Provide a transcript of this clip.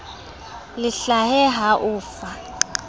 le hlahe ho o fa